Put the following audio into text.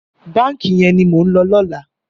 Bànkí yèn ni mó n lò lòlá